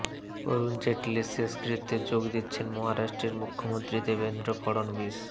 অরুণ জেটলির শেষকৃত্যে যোগ দিচ্ছেন মহারাষ্ট্রের মুখ্যমন্ত্রী দেবেন্দ্র ফড়নবীশ